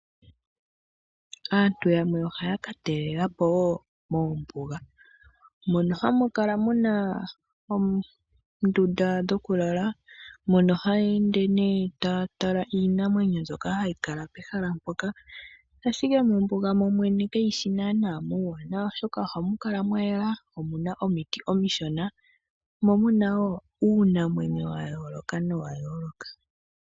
Aantu yamwe ohaya ka talela po wo mombuga, moka hamu kala mu na oondunda dhokulala. Mono haya ende nee taa tala iinamwenyo mbyoka hayi kala mpoka, ashike mombuga kamu shi muuwanawa okukala, oshoka ohamu kala mwa yela. Omu na omiti omishona, mo mu na wo uunamwenyo wa yooloka nowa yooloka.